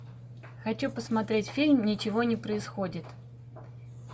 хочу посмотреть фильм ничего не происходит